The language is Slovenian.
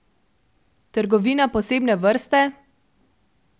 Trgovina posebne vrste?